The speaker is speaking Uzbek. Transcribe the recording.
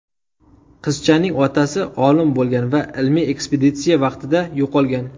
Qizchaning otasi olim bo‘lgan va ilmiy ekspeditsiya vaqtida yo‘qolgan.